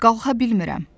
Qalxa bilmirəm.